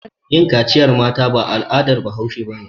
Yin kaciyar mata al'adar bahaushe ba ne.